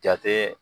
Jate